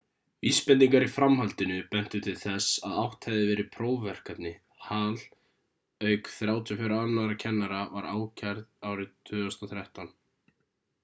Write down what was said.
vísbendingar í framhaldinu bentu til þess að átt hefði verið við prófverkefni hall auk 34 annarra kennara var ákærð árið 2013